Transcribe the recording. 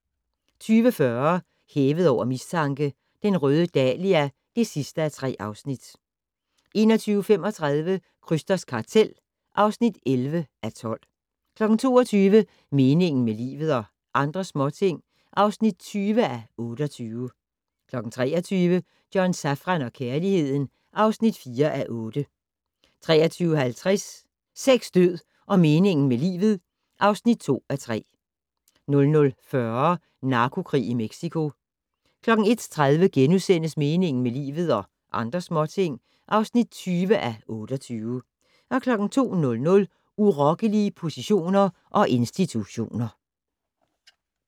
20:40: Hævet over mistanke: Den røde dahlia (3:3) 21:35: Krysters kartel (11:12) 22:00: Meningen med livet - og andre småting (20:28) 23:00: John Safran og kærligheden (4:8) 23:50: Sex, død og meningen med livet (2:3) 00:40: Narkokrig i Mexico 01:30: Meningen med livet - og andre småting (20:28)* 02:00: Urokkelige positioner og institutioner